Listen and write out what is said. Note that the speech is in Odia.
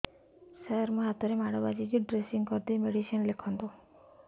ସାର ମୋ ହାତରେ ମାଡ଼ ବାଜିଛି ଡ୍ରେସିଂ କରିଦେଇ ମେଡିସିନ ଲେଖନ୍ତୁ